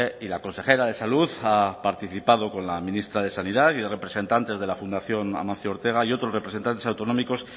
y la consejera de salud ha participado con la ministra de sanidad y de representantes de la fundación ortega y otros representantes autonómicos